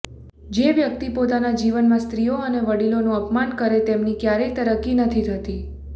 જે વ્યક્તિ પોતાના જીવનમાં સ્ત્રીઓ અને વડીલોનું અપમાન કરે તેમની ક્યારેય તરક્કી નથી થતી